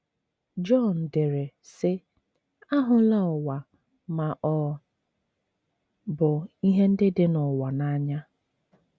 Jọn dere, sị: ““ Ahụla ụwa ma ọ bụ ihe ndị dị n’ụwa n’anya.